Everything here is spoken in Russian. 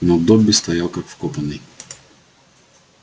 но добби стоял как вкопанный